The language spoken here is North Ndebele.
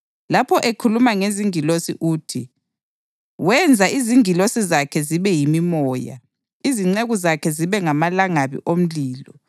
Lapho ekhuluma ngezingilosi uthi, “Wenza izingilosi zakhe zibe yimimoya, izinceku zakhe zibe ngamalangabi omlilo.” + 1.7 AmaHubo 104.4